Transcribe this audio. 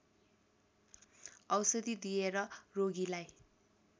औषधि दिएर रोगीलाई